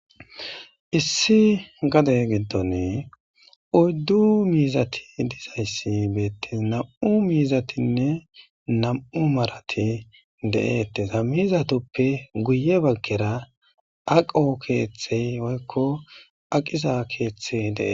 issi gade giddoni oyddu miizati dizayssi beettes nam'u miizatinne nam'u marati de'ettes a mizatoppe guye baggera aqo keeththey woykko aqiza keeththey de'ees